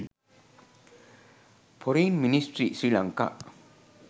forign ministry sri lanka